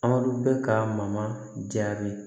Anw bɛ ka mama jaabi